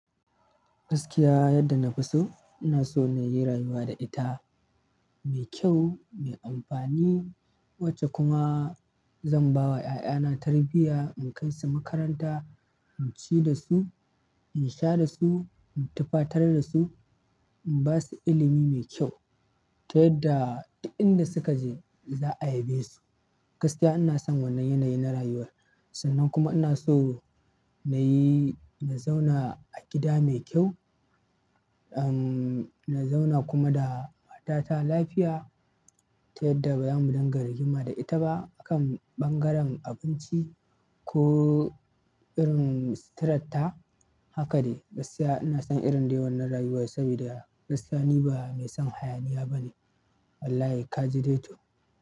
Gaskiya yadda na fi so, ina so na yi rayuwa da ita mai kyau, mai amfani. Wacce kuma zan ba wa 'ya'yana tarbiyya, in kai su makaranta, in ci da su, in sha da su, in tufatar da su, in ba su ilimi mai kyau. Ta yadda duk inda suka je za a yabe su. Gaskiya inason wannan yanayi na rayuwar sannan kuma inaso nayi na zauna a gida mai kyau ahmm na zauna kuma da matata lafiya ta yadda ba zamu dinga rigima da ita ba a kan ɓangaren abinci ko irin suturar ta. Haka ne, gaskiya ina son irin dai wannan rayuwan saboda gaskiya ni ba mai son hayaniya ba ne. Wallahi kaji dai to.